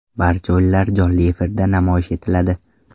Barcha o‘yinlar jonli efirda namoyish etiladi.